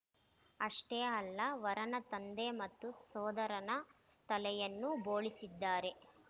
ಅಷ್ಟೇ ಅಲ್ಲ ವರನ ತಂದೆ ಮತ್ತು ಸೋದರನ ತಲೆಯನ್ನೂ ಬೋಳಿಸಿದ್ದಾರೆ